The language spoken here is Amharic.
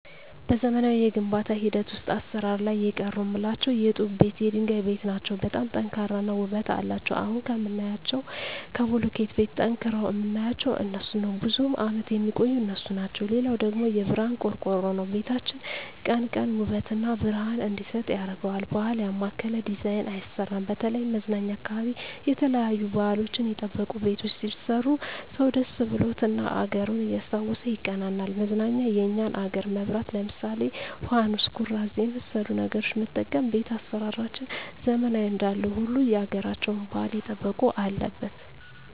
በዘመናዊ የግንባታ ሂደት ውሰጥ አሰራር ላይ የቀሩ ምላቸው የጡብ ቤት የድንጋይ ቤት ናቸው በጣም ጠንካራ እና ውበት አለቸው አሁን ከምናያቸው ከቡልኪት ቤት ጠንቅረዉ ምናያቸው እነሡን ነው ብዙም አመት የሚቆዩ እነሡ ናቸው ሌላው ደግሞ የብረሀን ቆርቆሮ ነው ቤታችን ቀን ቀን ውበት እና ብረሀን እንዲሰጥ ያረገዋል ባህል ያማከለ ዲዛይን አይሰራም በተለይም መዝናኛ አካባቢ የተለያዩ ባህልችን የጠበቁ ቤቶች ቢሰሩ ሰው ደስ ብሎት እና አገሩን እያስታወሱ ይቀናናል መዝናኛ የኛን አገር መብራት ለምሳሌ ፋኑስ ኩራዝ የመሠሉ ነገሮች መጠቀም ቤት አሰራራችንን ዘመናዊ እንዳለው ሁሉ ያገራቸውን ባህል የጠበቀ አለበት